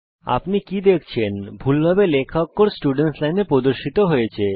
আপনি কি দেখছেন ভুলভাবে লেখা অক্ষর স্টুডেন্টস লাইনে প্রদর্শিত হয়েছে